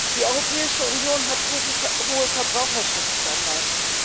Die Europäische Union hat hohe Verbraucherschutzstandards.